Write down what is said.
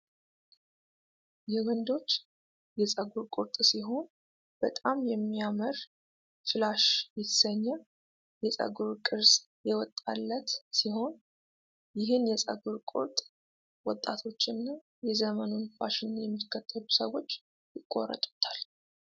የወንዶች የፀጉር ቁርጥ ሲሆን በጣም የሚያምር ፍላሽ የተሰኘ የፀጉር ቅርጽ የወጣላት ሲሆን ይህን የፀጉር ቁርጥ ወጣቶችና የዘመኑን ፋሽን የሚከተሉ ሰዎች ይቆረጡታል።